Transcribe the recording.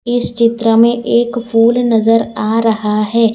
इस चित्र में एक फूल नजर आ रहा है।